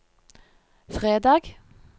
fredag